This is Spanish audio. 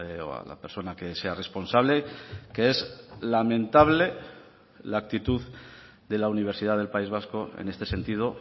o a la persona que sea responsable que es lamentable la actitud de la universidad del país vasco en este sentido